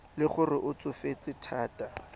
le gore o tsofetse thata